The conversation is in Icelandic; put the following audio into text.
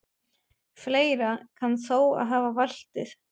Fleira kann þó að hafa valdið.